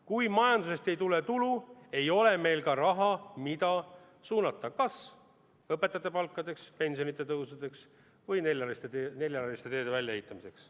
Kui majandusest ei tule tulu, ei ole meil ka raha, mida suunata kas õpetajate palkadeks, pensionide tõusuks või neljarealiste teede väljaehitamiseks.